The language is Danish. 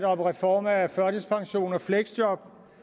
om reform af førtidspension og fleksjob